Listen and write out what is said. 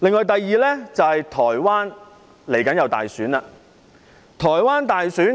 第二，台灣將會舉行大選。